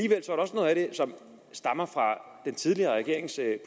som stammer fra den tidligere regerings